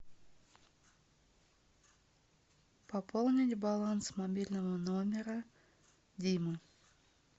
пополнить баланс мобильного номера дима